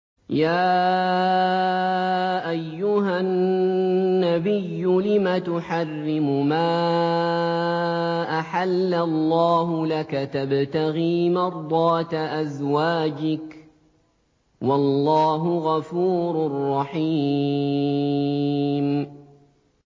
يَا أَيُّهَا النَّبِيُّ لِمَ تُحَرِّمُ مَا أَحَلَّ اللَّهُ لَكَ ۖ تَبْتَغِي مَرْضَاتَ أَزْوَاجِكَ ۚ وَاللَّهُ غَفُورٌ رَّحِيمٌ